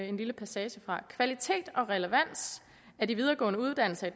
en lille passage fra kvalitet og relevans af de videregående uddannelser